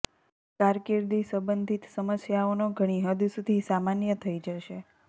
કારકિર્દી સંબંધિત સમસ્યાઓનો ઘણી હદ સુધી સામાન્ય થઈ જશે